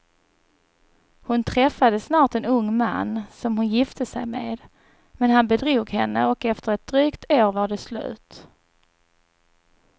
Hon träffade snart en ung man som hon gifte sig med, men han bedrog henne och efter ett drygt år var det slut.